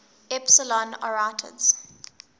epsilon arietids